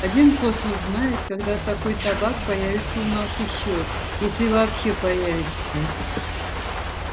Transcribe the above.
один космос знает когда такой табак появится у нас ещё если вообще появится